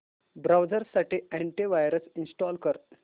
browser साठी anti virus install कर